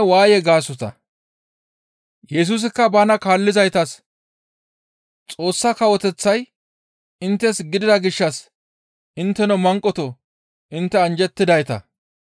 Yesusikka bana kaallizaytas, «Xoossa Kawoteththay inttes gidida gishshas intteno manqotoo! Intte anjjettidayta;